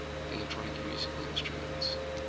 electronic musical instruments